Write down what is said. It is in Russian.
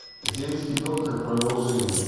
земский доктор продолжение